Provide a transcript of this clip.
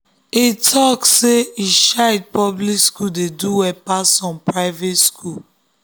him talk say him child public school dey do well pass some private school